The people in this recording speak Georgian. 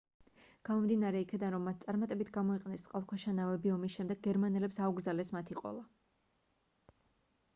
გამომდინარე იქიდან რომ მათ წარმატებით გამოიყენეს წყალქვეშა ნავები ომის შემდეგ გერმანელებს აუკრძალეს მათი ყოლა